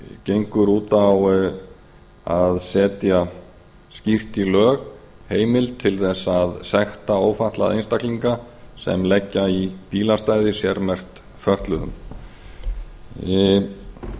gengur út á að setja skýrt í lög heimild til þess að sekta ófatlaða einstaklinga sem leggja í bílastæði sérmerkt fötluðum þetta frumvarp